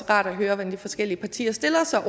rart at høre hvordan de forskellige partier stiller sig